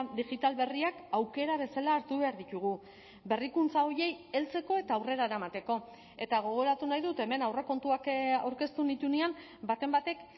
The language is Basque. digital berriak aukera bezala hartu behar ditugu berrikuntza horiei heltzeko eta aurrera eramateko eta gogoratu nahi dut hemen aurrekontuak aurkeztu nituenean baten batek